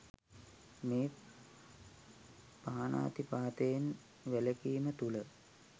මේ පාණාතිපාතයෙන් වැළකීම තුළ